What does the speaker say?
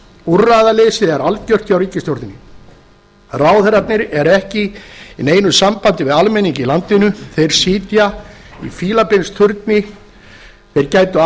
úrræðaleysið er algjört hjá ríkisstjórninni ráðherrarnir eru ekki í neinu sambandi við almenning í landinu þeir sitja í fílabeinsturni þeir gætu